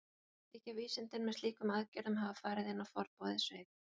Þykja vísindin með slíkum aðgerðum hafa farið inn á forboðið svið.